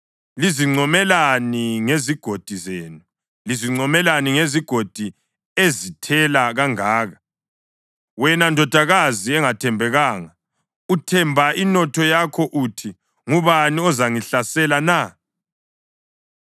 Lizincomelani ngezigodi zenu, lizincomelani ngezigodi ezithela kangaka? Wena ndodakazi engathembekanga, uthemba inotho yakho uthi, ‘Ngubani ozangihlasela na?’